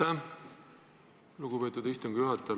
Aitäh, lugupeetud istungi juhataja!